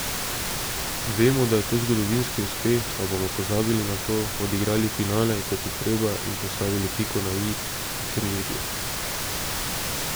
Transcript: Vemo, da je to zgodovinski uspeh, a bomo pozabili na to, odigrali finale, kot je treba in postavili piko na i turnirju.